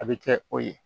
A bɛ kɛ o ye